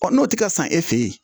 n'o tɛ ka san e fɛ ye